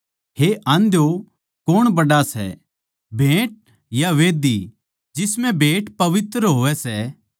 हे आंध्यो कौण बड्ड़ा सै भेंट या मंढही जिसम्ह भेंट पवित्र होवै सै